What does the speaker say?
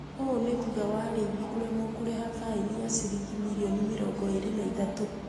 Ũũ ni thutha wa arĩithi kũremwo ni kũreha faini ya ciringi milioni mirongo ĩrĩ na ithatũ